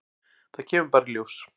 Það kemur bara í ljós.